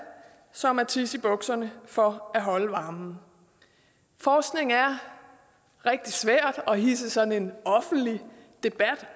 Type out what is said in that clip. som at tisse i bukserne for at holde varmen forskning er rigtig svært at hidse sådan en offentlig debat